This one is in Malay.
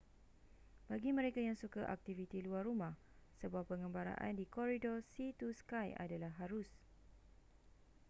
bagi mereka yang suka aktiviti luar rumah sebuah pengembaraan di koridor sea to sky adalah harus